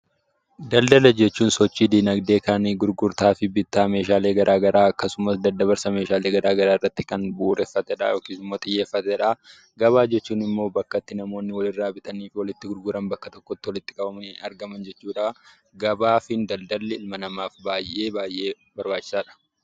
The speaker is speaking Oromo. Daldala jechuun sochii dinagdee kan gurgurtaa fi bittaa meeshaalee garaagaraa akkasuma daddabarsa meeshaalee garaagaraa irratti kan bu'uureffatedha yookiin xiyyeeffatedha. Gabaa jechuun immoo bakka itti namoonni walirraa bitanii fi walitti gurguran bakka tokkotti walitti qabamanii argamanidha. Gabaa fi daldalli dhala namaaf baay'ee baay'ee barbaachisaadha.